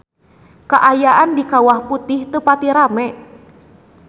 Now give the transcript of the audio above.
Kaayaan di Kawah Putih teu pati rame